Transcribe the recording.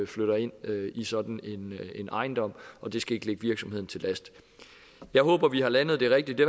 flytter ind i sådan en ejendom og det skal ikke ligge virksomheden til last jeg håber vi har landet det rigtigt det